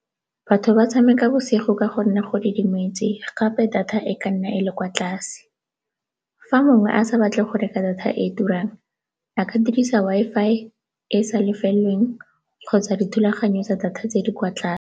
Batho ba tshameka bosigo ka gonne go didimetse gape data e ka nna e le kwa tlase. Fa mongwe a sa batle go reka data e e turang a ka dirisa Wi-Fi e e sa lefeleng kgotsa dithulaganyo tsa data tse di kwa tlase.